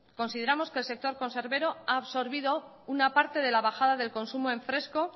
consideramos que el sector conservero ha absorbido una parte de la bajada del consumo en fresco